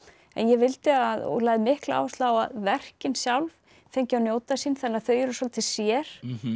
en ég vildi að og lagði mikla áherslu á að verkin sjálf fengju að njóta sín þannig að þau eru svolítið sér